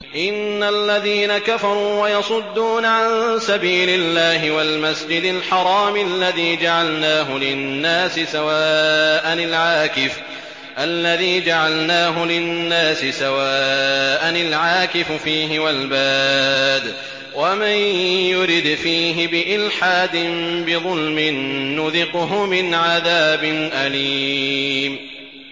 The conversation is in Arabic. إِنَّ الَّذِينَ كَفَرُوا وَيَصُدُّونَ عَن سَبِيلِ اللَّهِ وَالْمَسْجِدِ الْحَرَامِ الَّذِي جَعَلْنَاهُ لِلنَّاسِ سَوَاءً الْعَاكِفُ فِيهِ وَالْبَادِ ۚ وَمَن يُرِدْ فِيهِ بِإِلْحَادٍ بِظُلْمٍ نُّذِقْهُ مِنْ عَذَابٍ أَلِيمٍ